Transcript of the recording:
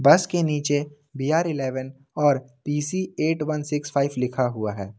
बस के नीचे बी_आर इलेवन और P C eight one six five लिखा हुआ है।